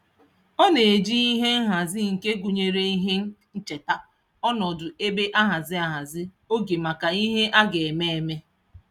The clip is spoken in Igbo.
Ọ na-eji ihe nhazi nke gụnyere ihe ncheta ọnọdụ ebe ahazi ahazi oge maka ihe a ga-eme eme.